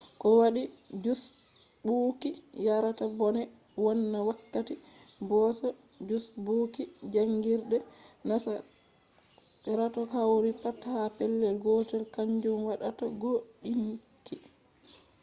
ko waɗi jusɓuuki yarata bone wonna wakkati boosa jusɓuuki jaangirde? nasarako hawtugo pat ha pellel gotel kanjum waddata gooɗinki